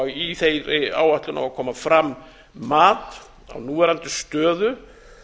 í þeirri áætlun á að koma fram mat á núverandi stöðu